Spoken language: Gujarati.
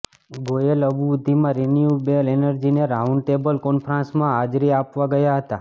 ગોયલ અબુધાબીમાં રિન્યૂએબલ એનર્જીની રાઉન્ડ ટેબલ કોન્ફરન્સમાં હાજરી આપવા ગયા હતા